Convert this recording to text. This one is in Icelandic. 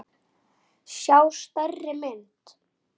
sjá stærri mynd.